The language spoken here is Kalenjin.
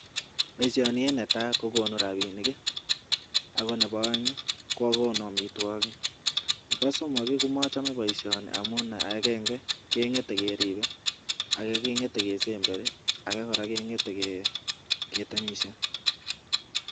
Paishanii kokonu rapinik ak komejei ripset nemii parak